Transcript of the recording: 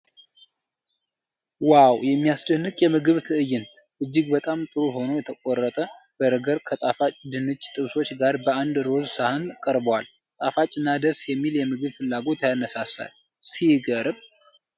ዋው! የሚያስደንቅ የምግብ ትዕይንት! እጅግ በጣም ጥሩ ሆኖ የተቆረጠ በርገር ከጣፋጭ ድንች ጥብሶች ጋር በአንድ ሮዝ ሳህን ቀርቧል። ጣፋጭና ደስ የሚል የምግብ ፍላጎት ያነሳሳል። ሲገርም!